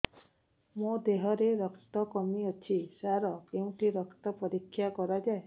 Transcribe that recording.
ମୋ ଦିହରେ ରକ୍ତ କମି ଅଛି ସାର କେଉଁଠି ରକ୍ତ ପରୀକ୍ଷା କରାଯାଏ